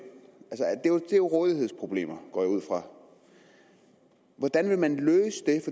er jo rådighedsproblemer går jeg ud fra hvordan vil man løse